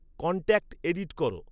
contact edit কর